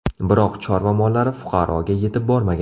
Biroq chorva mollari fuqaroga yetib bormagan.